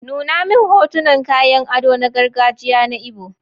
Nuna min hotunan kayan ado na gargajiya na Igbo.